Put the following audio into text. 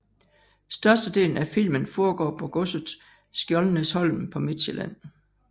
Størstedelen af filmen foregår på godset Skjoldenæsholm på Midtsjælland